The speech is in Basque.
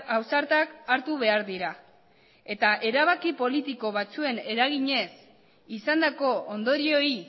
ausartak hartu behar dira eta erabaki politiko batzuen eraginez izandako ondorioei